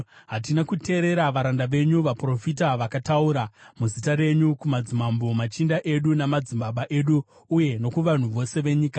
Hatina kuteerera varanda venyu vaprofita, vakataura muzita renyu kumadzimambo, machinda edu namadzibaba edu, uye nokuvanhu vose venyika.